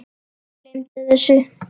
Gleymdu þessu.